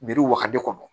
Biri waga de kɔnɔ